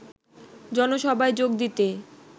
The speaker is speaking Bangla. জনসভায় যোগ দিতে